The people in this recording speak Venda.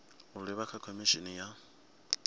u livha kha khomishini ya